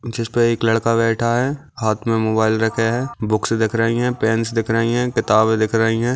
जिसपे एक लड़का बैठा है हाथ में मोबाइल रखे है बुक्स दिख रही है पेंस दिख रही है किताबें दिख रही है।